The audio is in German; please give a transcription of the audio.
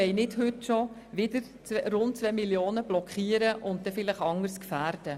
Wir wollen nicht heute bereits 2 Mio. Franken blockieren und dafür vielleicht anderes gefährden.